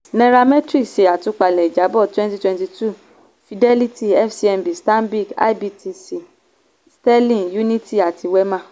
nairametrics ṣe atúpalè ìjábọ̀ twenty twenty two fidelity fcmb stanbic ibtc sterling unity àti wema.